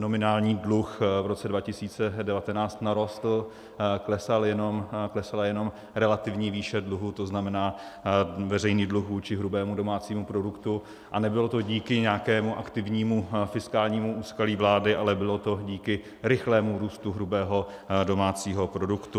Nominální dluh v roce 2019 narostl, klesala jenom relativní výše dluhu, to znamená veřejný dluh vůči hrubému domácímu produktu, a nebylo to díky nějakému aktivnímu fiskálnímu úsilí vlády, ale bylo to díky rychlému růstu hrubého domácího produktu.